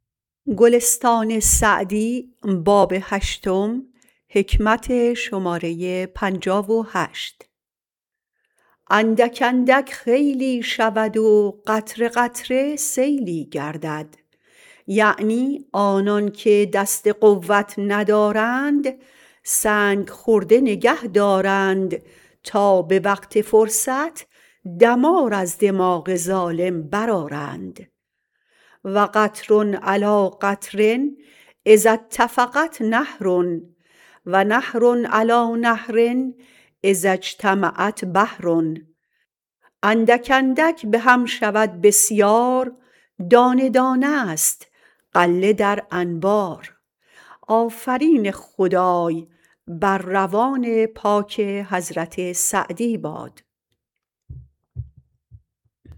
اندک اندک خیلی شود و قطره قطره سیلی گردد یعنی آنان که دست قوت ندارند سنگ خرده نگه دارند تا به وقت فرصت دمار از دماغ ظالم برآرند و قطر علیٰ قطر اذا اتفقت نهر و نهر علیٰ نهر اذا اجتمعت بحر اندک اندک به هم شود بسیار دانه دانه است غله در انبار